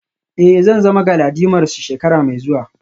Eh zan zama galadimarmu shekara mai zuwa